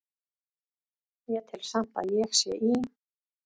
Ég tel samt að ég sé í